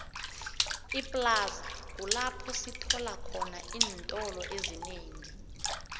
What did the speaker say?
iplaza kulapho esitholakhona iintolo ezinengi